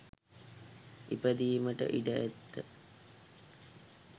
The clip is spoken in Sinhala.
ඉපදීමට ඉඩ ඇත.